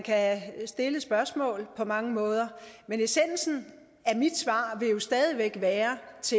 kan stille et spørgsmål på mange måder men essensen af mit svar vil jo stadig væk være